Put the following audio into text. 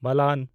ᱵᱟᱞᱟᱱ